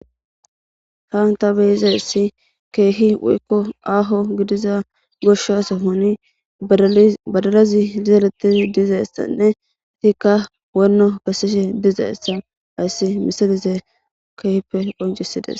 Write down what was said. Haanta beizayssi keehi woykko aaho gidiza goshaso honi badalazi izaalettizi dizayssanne itikka wonno gassishe dizayssa ayssi misalize keehppe qoncisides.